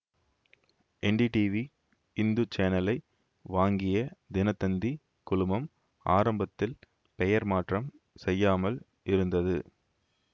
NDTV Hindu சேனலை வாங்கிய தினத்தந்தி குழுமம் ஆரம்பத்தில் பெயர் மாற்றம் செய்யாமல் இருந்தது